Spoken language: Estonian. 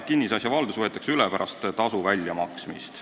Kinnisasja valdus võetakse üle pärast tasu väljamaksmist.